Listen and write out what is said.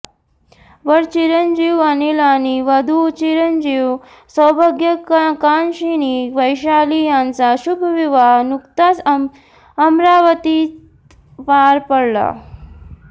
वर चिरंजीव अनिल आणि वधू चिरंजीव सौभाग्य कांक्षिणी वैशाली यांचा शुभविवाह नुकताच अमरावतीत पार पडला